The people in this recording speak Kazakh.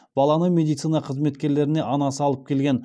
баланы медицина қызметкерлеріне анасы алып келген